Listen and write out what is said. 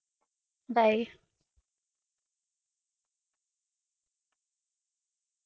bye